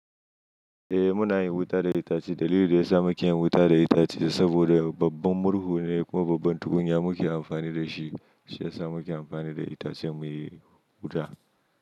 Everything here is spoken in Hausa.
Eh muna yin wuta da itace. Dalilin da ya sa muke yin wuta da itace saboda babban murhu ne kuma babban tukunya muke amfani da shi, shi ya sa muke amfani da itacen muyi wuta.